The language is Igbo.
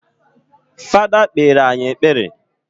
Fada kpere anyị ekpere